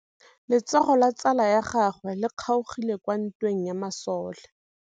Letsôgô la tsala ya gagwe le kgaogile kwa ntweng ya masole.